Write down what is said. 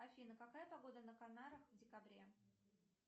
афина какая погода на канарах в декабре